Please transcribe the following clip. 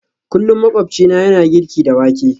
Kullum makwabcina yana girki da wake